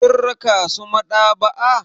Kin raka su maɗaba'a.